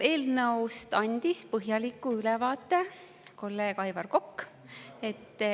Eelnõust andis põhjaliku ülevaate kolleeg Aivar Kokk.